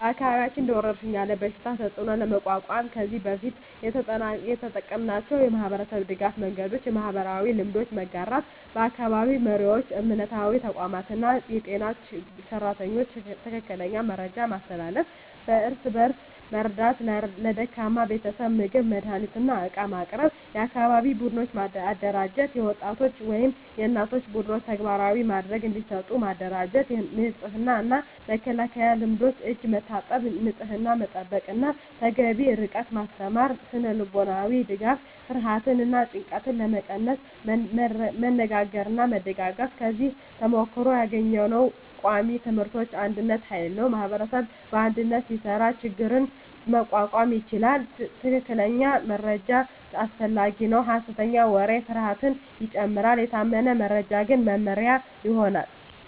በአካባቢያችን እንደ ወረሽኝ ያለ በሽታ ተፅዕኖ ለመቋቋም ከዚህ በፊት የተጠቀምናቸው የማህበረሰብ ድገፍ መንገዶች :- የማህበራዊ መረጃ መጋራት በአካባቢ መሪዎች፣ እምነታዊ ተቋማት እና የጤና ሰራተኞች ትክክለኛ መረጃ ማስተላለፍ። እርስ በእርስ መርዳት ለደካማ ቤተሰቦች ምግብ፣ መድሃኒት እና ዕቃ ማቅረብ። የአካባቢ ቡድኖች አደራጀት የወጣቶች ወይም የእናቶች ቡድኖች ተግባራዊ ድጋፍ እንዲሰጡ ማደራጀት። የንጽህና እና መከላከያ ልምዶች የእጅ መታጠብ፣ ንጽህና መጠበቅ እና ተገቢ ርቀት ማስተማር። ስነ-ልቦናዊ ድጋፍ ፍርሃትን እና ጭንቀትን ለመቀነስ መነጋገርና መደጋገፍ። ከዚህ ተሞክሮ ያገኘነው ቃሚ ትምህርቶች አንድነት ኃይል ነው ማኅበረሰብ በአንድነት ሲሰራ ችግኝ መቋቋም ይቻላል። ትክክለኛ መረጃ አስፈላጊ ነው ሐሰተኛ ወሬ ፍርሃትን ይጨምራል፤ የታመነ መረጃ ግን መመሪያ ይሆናል።